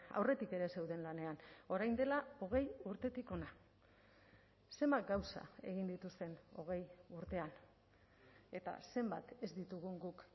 aurretik ere zeuden lanean orain dela hogei urtetik hona zenbat gauza egin dituzten hogei urtean eta zenbat ez ditugun guk